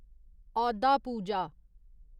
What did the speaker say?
औदा पूजा